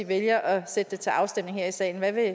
vælger at sætte det til afstemning her i salen hvad vil